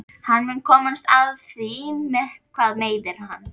Hann mun komast að því hvað meiðir hann.